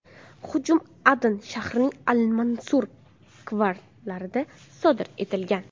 Hujum Adan shahrining Al-Mansur kvartalida sodir etilgan.